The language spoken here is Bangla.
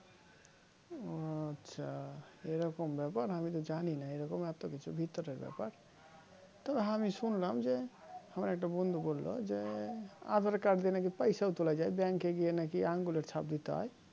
ও আচ্ছা এরকম ব্যাপার আমি তো জানিনা এই রকম এতকিছু ভিতরের ব্যাপার তবে আমি শুনলাম যে হামার একটা বন্ধু বলল যে aadhar card দিয়ে নাকি পয়সাও তুলা যাই Bank গিয়ে নাকি আঙ্গুলের ছাপ দিতে হয়